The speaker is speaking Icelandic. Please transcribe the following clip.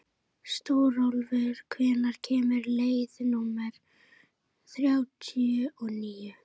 Stórólfur, hvenær kemur leið númer þrjátíu og níu?